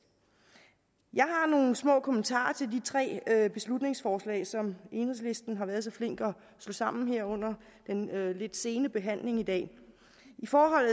jeg har nogle små kommentarer til de tre beslutningsforslag som enhedslisten har været så flink at slå sammen her under den lidt sene behandling i dag i forhold